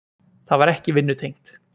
Það var ekki vinnutengt.